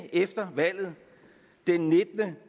efter valget